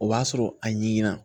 O b'a sɔrɔ a ɲinna